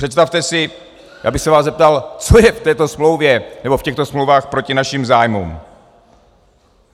Představte si, já bych se vás zeptal, co je v této smlouvě nebo v těchto smlouvách proti našim zájmům?